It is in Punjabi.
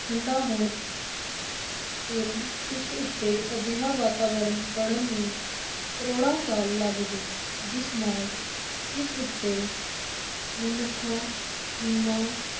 ਠੰਢਾ ਹੋਣ ਫਿਰ ਉਸ ਉੱਤੇ ਅਜਿਹਾ ਵਾਤਾਵਰਨ ਬਣਨ ਨੂੰ ਕਰੋੜਾਂ ਸਾਲ ਲਗ ਗਏ, ਜਿਸ ਨਾਲ ਇਸ ਉੱਤੇ ਮਨੁੱਖਾਂ ਜੀਵਾਂ